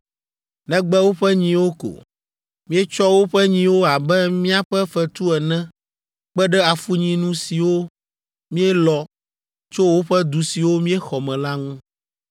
negbe woƒe nyiwo ko. Míetsɔ woƒe nyiwo abe míaƒe fetu ene kpe ɖe afunyinu siwo míelɔ tso woƒe du siwo míexɔ me la ŋu.